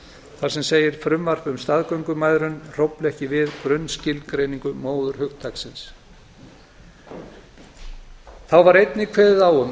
þar sem segir frumvarp um staðgöngumæðrun hrófla ekki við grunnskilgreiningu móðurhugtaksins þá var einnig kveðið á um